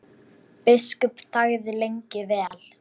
Biskup þagði lengi vel.